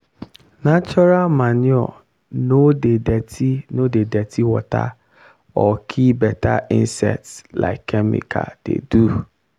natural manure no dey dirty no dey dirty water or kill better insects like chemical dey do.